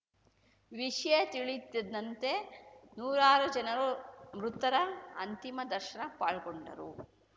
ವಿಷಯ ತಿಳಿಯುತ್ತಿದ್ದಂತೆ ನೂರಾರು ಜನರು ಮೃತರ ಅಂತಿಮ ದರ್ಶನ ಪಾಲ್ಗೊಂಡರು